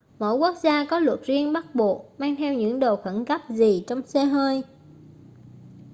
mỗi quốc gia có luật riêng bắt buộc mang theo những đồ khẩn cấp gì trong xe hơi